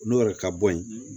N'o yɛrɛ ka bɔ yen